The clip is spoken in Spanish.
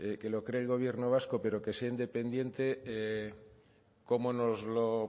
que lo cree el gobierno vasco pero que sea independiente cómo nos lo